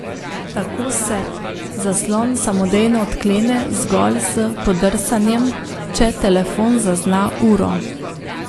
Tako se zaslon samodejno odklene zgolj s podrsanjem, če telefon zazna uro.